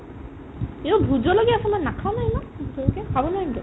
এইটোত ভোটজলকীয়া আছে নাখাও নহয় ইমান